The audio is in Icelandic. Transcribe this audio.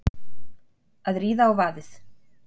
Að ríða á vaðið